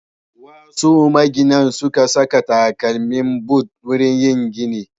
Wasu maginan sukan sa takalmi but wurin yin gini.